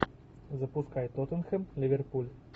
запускай тоттенхэм ливерпуль